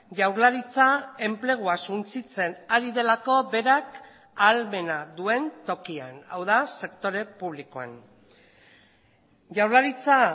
jaurlaritza enplegua suntsitzen ari delako berak ahalmena duen tokian hau da sektore publikoan jaurlaritza